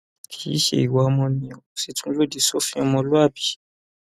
kì í ṣe ìwà ọmọnìyàn ó sì tún lòdì sófin ọmọlúàbí